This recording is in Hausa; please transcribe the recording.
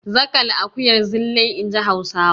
Zaƙal akuyar Zilai, in ji Hausawa.